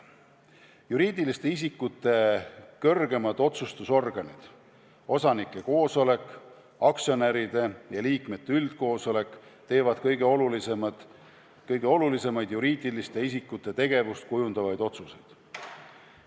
Juriidiliste isikute kõrgemad otsustusorganid – osanike koosolek, aktsionäride ja liikmete üldkoosolek – teevad kõige olulisemaid juriidiliste isikute tegevust kujundavaid otsuseid.